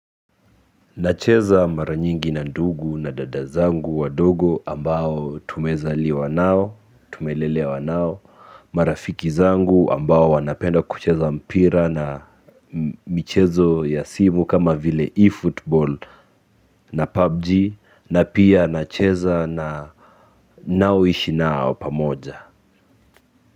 Nacheza mara nyingi na ndugu na dada zangu wadogo ambao tumezaliwa nao, tumelelewa nao. Marafiki zangu ambao wanapenda kucheza mpira na michezo ya simu kama vile eFootball na PUBG na pia nacheza na ninaoishi nao pamoja.